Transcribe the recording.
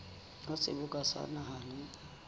wa seboka sa naha le